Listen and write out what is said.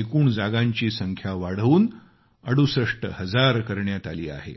एकूण जागांची संख्या वाढवून 68 हजार करण्यात आली आहे